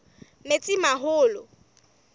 metsimaholo